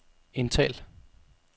indtal